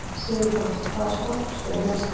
Sigurpáll, hvaða stoppistöð er næst mér?